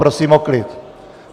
Prosím o klid!